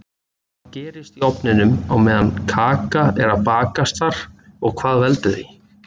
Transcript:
Hvað gerist í ofninum á meðan kaka er að bakast þar og hvað heldur því?